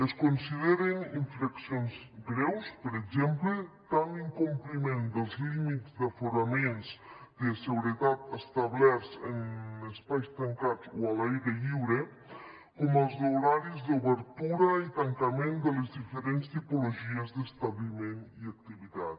es consideren infraccions greus per exemple tant l’incompliment dels límits d’aforament de seguretat establerts en espais tancats o a l’aire lliure com els d’horaris d’obertura i tancament de les diferents tipologies d’establiment i activitat